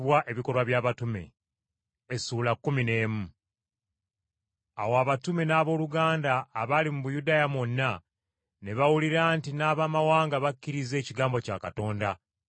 Awo abatume n’abooluganda abaali mu Buyudaaya mwonna ne bawulira nti n’Abamawanga bakkiriza ekigambo kya Katonda.